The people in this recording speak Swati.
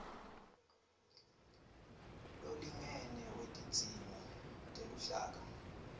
lolingene wetidzingo teluhlaka